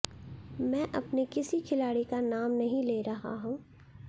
मैं अपने किसी खिलाड़ी का नाम नहीं ले रहा हूं